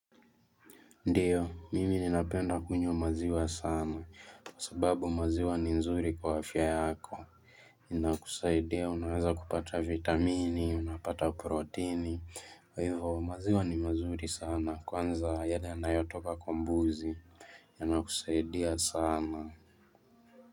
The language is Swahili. Ndiyo, mimi ninapenda kunywa maziwa sana, kwa sababu maziwa ni nzuri kwa afya yako. Ninakusaidia, unaweza kupata vitamini, unapata proteini, kwa hivo maziwa ni mazuri sana, kwanza ya yanayotoka kwa mbuzi, yanakusaidia sana.